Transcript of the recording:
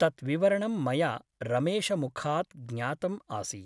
तत् विवरणं मया रमेशमुखात् ज्ञातम् आसीत् ।